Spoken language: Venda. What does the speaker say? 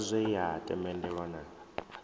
sa zwe ya tendelwa na